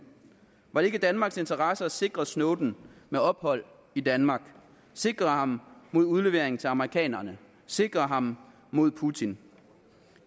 var det ikke i danmarks interesse at sikre snowden med ophold i danmark sikre ham mod udlevering til amerikanerne sikre ham mod putin